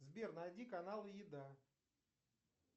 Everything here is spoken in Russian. сбер найди каналы еда